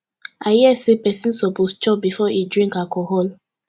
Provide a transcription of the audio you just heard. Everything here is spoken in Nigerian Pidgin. i hear sey pesin suppose chop before e drink alcohol